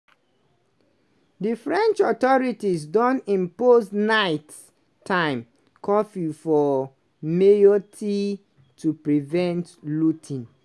di french authorities don impose night-time curfew for mayotte to prevent looting.